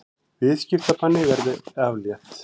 Viðskiptabanni verði aflétt